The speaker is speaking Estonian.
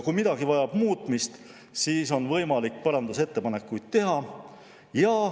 Kui midagi vajab muutmist, siis on võimalik parandusettepanekuid teha.